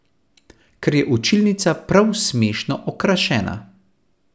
Ker je učilnica prav smešno okrašena.